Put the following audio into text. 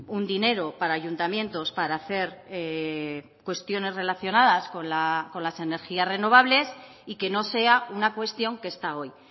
un dinero para ayuntamientos para hacer cuestiones relacionadas con las energías renovables y que no sea una cuestión que está hoy